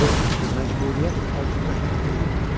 O məcburiyyət altında hərəkət eləyirdi.